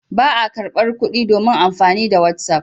Ba a karɓar kuɗi domin amfani da whatsapp.